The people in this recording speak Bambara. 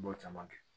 N b'o caman kɛ